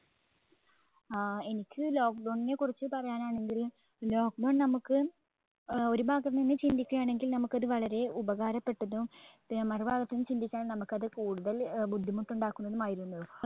ആ എനിക്ക് lockdown നെ കുറിച്ച് പറയാനാണെങ്കിൽ lockdown നമ്മുക്ക് ഏർ ഒരു ഭാഗം തന്നെ ചിന്തിക്കയാണെങ്കിൽ നമുക്കത് വളരെ ഉപകാരപ്പെട്ടതും ഏർ മറുഭാഗത്തിന്ന് ചിന്തിക്കയാണെങ്കിൽ നമുക്കത് കൂടുതൽ ബുദ്ധിമുട്ടുണ്ടാക്കുന്നതും ആയിരുന്നു